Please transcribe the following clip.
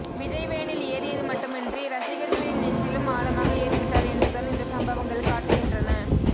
விஜய் வேனில் ஏறியது மட்டுமின்றி ரசிகர்களின் நெஞ்சிலும் ஆழமாக ஏறிவிட்டார் என்றுதான் இந்த சம்பவங்கள் காட்டுகின்றன